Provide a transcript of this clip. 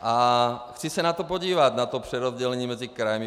A chci se na to podívat, na to přerozdělení mezi kraji.